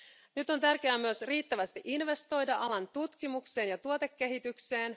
Nyt on tärkeää myös riittävästi investoida alan tutkimukseen ja tuotekehitykseen.